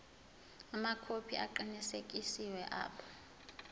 amakhophi aqinisekisiwe abo